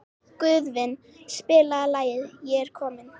Guðvin, spilaðu lagið „Ég er kominn“.